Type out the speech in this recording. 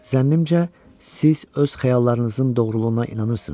Zənnimcə, siz öz xəyallarınızın doğruluğuna inanırsınız.